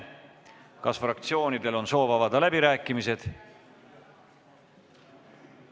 Kas fraktsioonidel on soov avada läbirääkimised?